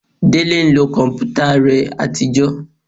Délé ń lo kọ̀mpútà rẹ àtijọ́